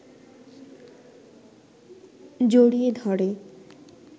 জড়িয়ে ধরে